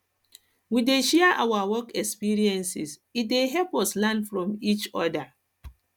we dey share our work experiences e dey help us learn from each each oda